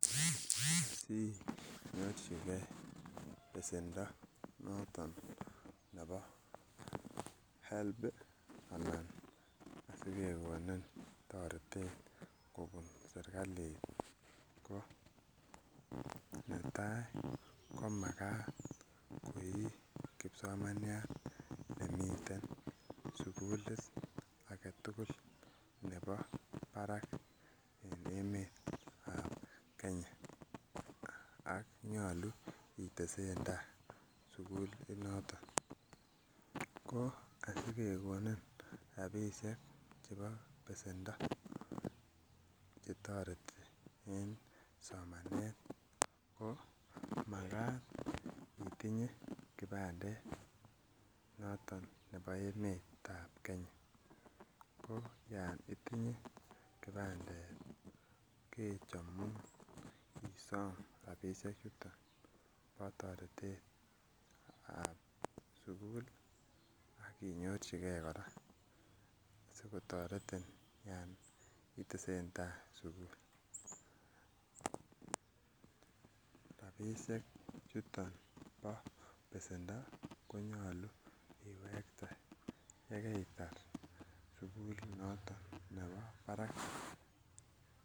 Asinyorchigee besendo noton nebo Higher Education Loans Board anan sikekonin toretet kobun serkali ko netai ko makat koi kipsomaniat nemiten sugulit aketugul nebo barak en emet ab Kenya ak nyolu itesentaa sugul noton ko asikekonin rapisiek chebo besendo chetoreti en somanet ko makat itinye kipandet noton nebo emet ab Kenya ko yon itinye kipandet kechomun isom rapisiek chuton bo toretet ab sugul ak inyorchigee kora sikotoretin yon itesentai sugul. Rapisiek chuton bo besendo konyolu iwekte yekeitar sugul noton nebo barak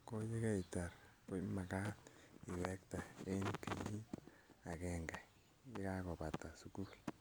ko yekeitar ko makat iwekte en kenyit agenge yekakobata sugul